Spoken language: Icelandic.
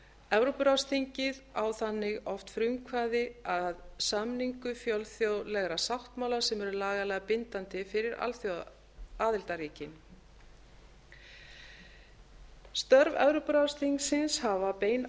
evrópuráðsþingið á þannig oft frumkvæði að samningu fjölþjóðlegra sáttmála sem eru lagalega bindandi fyrir aðildarríkin störf evrópuráðsþingsins hafa bein